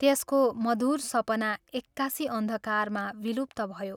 त्यसको मधुर सपना एक्कासि अन्धकारमा विलुप्त भयो।